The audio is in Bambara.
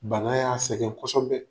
Bana y'a sɛgɛn kosɛbɛ.